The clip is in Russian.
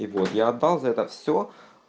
и вот я отдал за это все